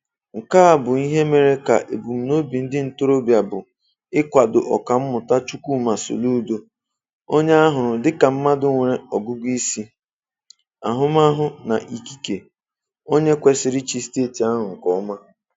Nke a bụ ihe mere ka ebumnobi ndị ntorobịa bụ ịkwado Ọkammụta Chukwuma Soludo, onye ha hụrụ dịka mmadụ nwere ọgụgụ isi, ahụmahụ na ikike, onye kwesịrị ịchị Steeti ahụ nke ọma.